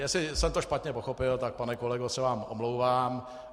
Jestli jsem to špatně pochopil, tak pane kolego, se vám omlouvám.